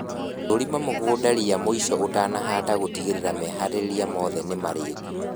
Thũrima mũgũnda ria mũico ũtanahanda gũtigĩrĩra meharĩria mothe nĩ marĩku